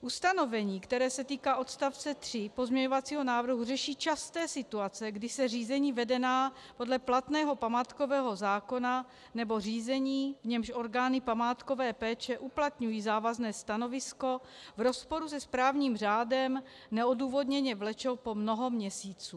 Ustanovení, které se týká odstavce 3 pozměňovacího návrhu, řeší časté situace, kdy se řízení vedená podle platného památkového zákona nebo řízení, v němž orgány památkové péče uplatňují závazné stanovisko v rozporu se správním řádem, neodůvodněně vlečou po mnoho měsíců.